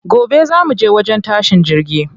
Gobe za muje wajen tashin jirgi.